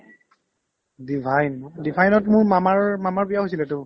divine ন divine ত মোৰ মামাৰ মামাৰ বিয়াও হৈছিল তো